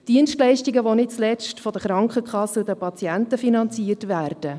Es sind Dienstleistungen, welche nicht zuletzt von den Krankenkassen und den Patienten finanziert werden.